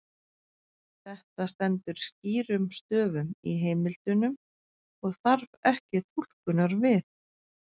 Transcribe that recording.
Þetta stendur skýrum stöfum í heimildunum og þarf ekki túlkunar við.